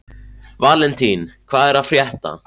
Valentín, hvað er að frétta?